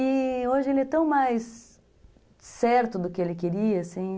E hoje ele é tão mais certo do que ele queria, assim.